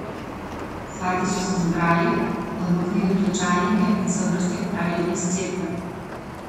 Svati so se zbrali, odmaknili klečalnike in se v vrsti odpravili iz cerkve.